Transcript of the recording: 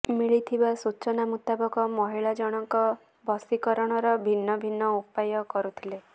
ମିଳିଥିବା ସୂଚନା ମୁତାବକ ମହିଳା ଜଣଙ୍କ ବଶିକରଣର ଭିନ୍ନ ଭିନ୍ନ ଉପାୟ କରୁଥିଲେ